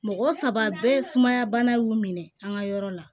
Mɔgɔ saba bɛɛ ye sumaya bana y'u minɛ an ka yɔrɔ la